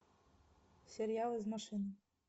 сериал из машины